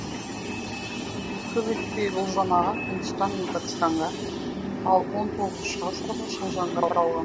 көп өтпей бұл жамағат үндістан мен пәкістанға ал он тоғызыншы ғасыр шынжаңға таралған